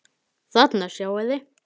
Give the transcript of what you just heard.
Þarna sjáið þið.